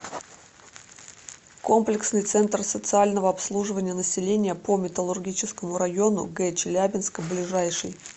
комплексный центр социального обслуживания населения по металлургическому району г челябинска ближайший